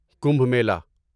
Kumbh Mela